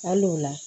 Hali o la